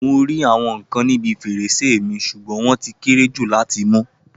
Mo rí àwọn ikán níbi fèrèsé mi sugbon wọ́n ti kéré jù láti mú.